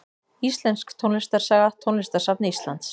Íslensk tónlistarsaga Tónlistarsafn Íslands.